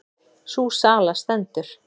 Sú sala stendur.